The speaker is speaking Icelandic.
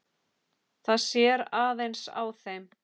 Það sér aðeins á þeim.